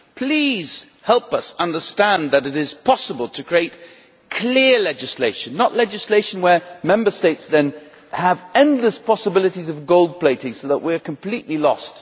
please help us understand that it is possible to create clear legislation, not legislation where Member States then have endless possibilities of gold plating so that we are completely lost.'